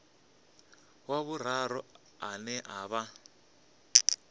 wa vhuraru ane a vha